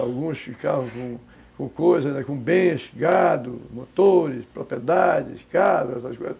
Alguns ficavam com com coisas, com bens, gado, motores, propriedades, casas, essas coisas.